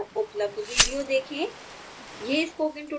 इस url पर उपलब्ध वीडियो देखे